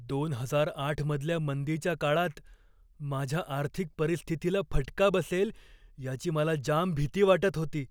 दोन हजार आठ मधल्या मंदीच्या काळात माझ्या आर्थिक परिस्थितीला फटका बसेल याची मला जाम भीती वाटत होती.